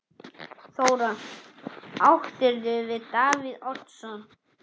Þóra: Áttirðu við Davíð Oddsson?